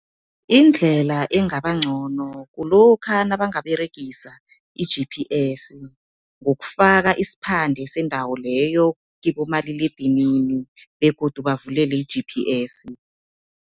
Indlela engaba ncono kulokha nabangaberegisa i-G_P_S, ngokufaka isiphande sendawo leyo kibomaliledinini begodu bavulele i-G_P_S.